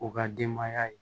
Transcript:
U ka denbaya ye